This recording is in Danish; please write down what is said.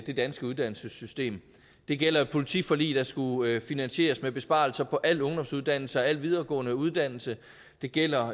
det danske uddannelsessystem det gælder politiforliget der skulle finansieres med besparelser på al ungdomsuddannelse og al videregående uddannelse det gælder